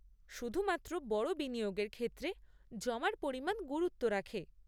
শুধুমাত্র বড় বিনিয়োগের ক্ষেত্রে জমার পরিমাণ গুরুত্ব রাখে।